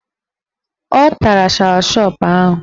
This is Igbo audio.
Ọ tara shashọp ahụ